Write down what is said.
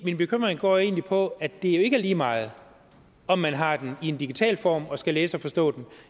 min bekymring går egentlig på at det jo ikke er lige meget om man har den i en digital form og skal læse og forstå den